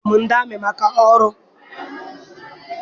Di ya na-eyi yunifọm ndị amị maka ọrụ.